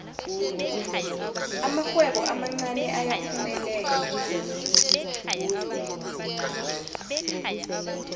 amarhwebo amancani ayaphumelela